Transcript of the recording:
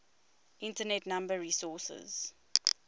internet number resources